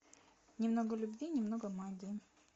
немного любви немного магии